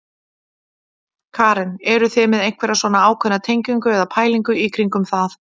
Karen: Eruð þið með einhverja svona ákveðna tengingu eða pælingu í kringum það?